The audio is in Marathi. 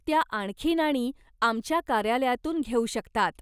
त्या आणखी नाणी आमच्या कार्यालयातून घेऊ शकतात.